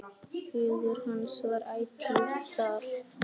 Hugur hans var ætíð þar.